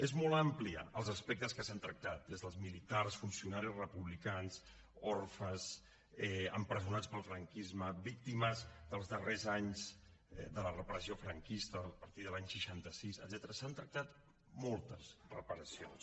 són molt amplis els aspectes que s’han tractat des dels militars funcionaris republicans orfes empresonats pel franquisme víctimes dels darrers anys de la repressió franquista a partir de l’any seixanta sis etcètera s’han tractat moltes reparacions